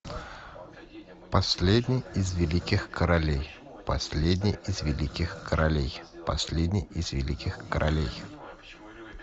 последний из великих королей последний из великих королей последний из великих королей